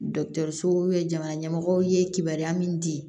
Dɔkitɛrisow ye jamana ɲɛmɔgɔw ye kibaruya min di